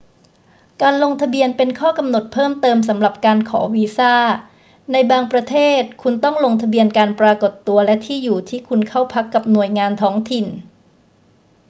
การลงทะเบียนเป็นข้อกำหนดเพิ่มเติมสำหรับการขอวีซ่า ในบางประเทศคุณต้องลงทะเบียนการปรากฏตัวและที่อยู่ที่คุณเข้าพักกับหน่วยงานท้องถิ่น